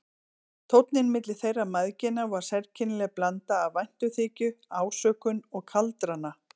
Tónninn milli þeirra mæðgina var sérkennileg blanda af væntumþykju, ásökun og kaldrana.